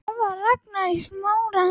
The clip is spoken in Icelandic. Það var Ragnar í Smára.